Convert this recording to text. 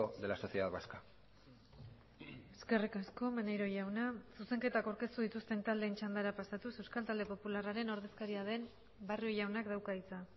de la sociedad vasca eskerrik asko maneiro jauna zuzenketak aurkeztu dituzten taldeen txandara pasatuz euskal talde popularraren ordezkaria den barrio jaunak dauka hitza